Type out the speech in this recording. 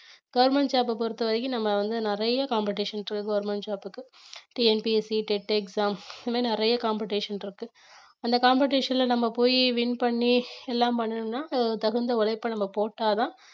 government job அ பொறுத்தவரைக்கும் நம்ம வந்து நிறைய competition இருக்கு government job க்கு TNPSCtet exam இந்த மாதிரி நிறைய competition இருக்கு அந்த competition ல நம்ம போயி win பண்ணி எல்லாம் பண்ணனும்னா அதுக்கு தகுந்த உழைப்பை நம்ம போட்டாதான்